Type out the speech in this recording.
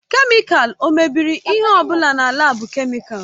Kemịkalụ o mebiri ihe ọ bụla na laabu kemịkalụ?